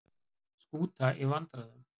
Skúta í vandræðum